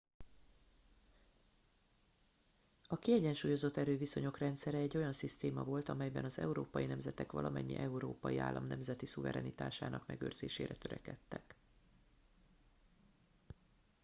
a kiegyensúlyozott erőviszonyok rendszere egy olyan szisztéma volt melyben az európai nemzetek valamennyi európai állam nemzeti szuverenitásának megőrzésére törekedtek